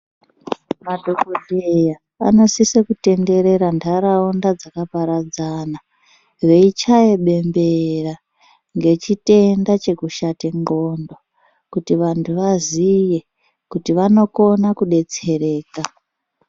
Madhokodheya anosisa kutenderera nharaunda dzakaparadzana veichaya bembera ngechitenda chekushata ngondlo kuti vantu vazive kuti vanokona kudetsereka.